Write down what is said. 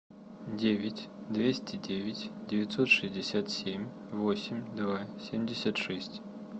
девять двести девять девятьсот шестьдесят семь восемь два семьдесят шесть